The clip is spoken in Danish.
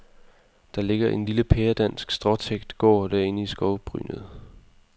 Der ligger en lille pæredansk stråtækt gård derinde i skovbrynet.